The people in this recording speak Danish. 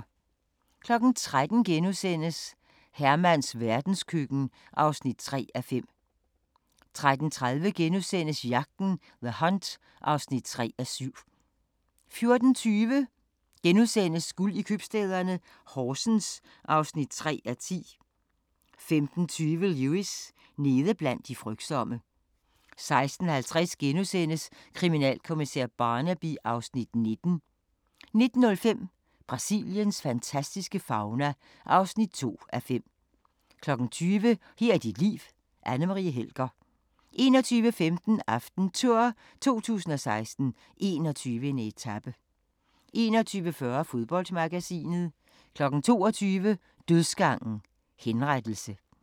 13:00: Hermans verdenskøkken (3:5)* 13:30: Jagten – The Hunt (3:7)* 14:20: Guld i købstæderne - Horsens (3:10)* 15:20: Lewis: Nede blandt de frygtsomme 16:50: Kriminalkommissær Barnaby (Afs. 19)* 19:05: Brasiliens fantastiske fauna (2:5) 20:00: Her er dit liv: Anne Marie Helger 21:15: AftenTour 2016: 21. etape 21:40: Fodboldmagasinet 22:00: Dødsgangen – henrettelse